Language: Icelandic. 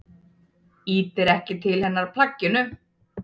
Ýtir ekki til hennar plagginu.